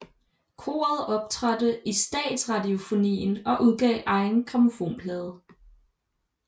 Koret optrådte i Statsradiofonien og udgav egen grammofonplade